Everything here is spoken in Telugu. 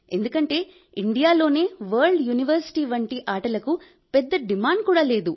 ఎందుకంటే ఇండియాలో వరల్డ్ యూనివర్శిటీ వంటి ఆటలకు పెద్దగా డిమాండ్ కూడా లేదు